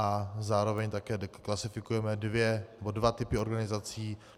A zároveň také klasifikujeme dva typy organizací.